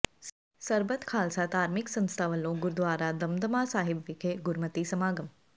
ਸਰਬੱਤ ਖ਼ਾਲਸਾ ਧਾਰਮਿਕ ਸੰਸਥਾ ਵਲੋਂ ਗੁਰਦੁਆਰਾ ਦਮਦਮਾ ਸਾਹਿਬ ਵਿਖੇ ਗੁਰਮਤਿ ਸਮਾਗਮ